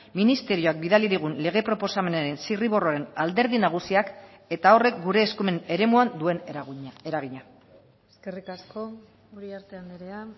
ministerioak bidali digun lege proposamenaren zirriborroaren alderdi nagusiak eta horrek gure eskumen eremuan duen eragina eskerrik asko uriarte andrea